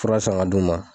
Fura san ka d'u ma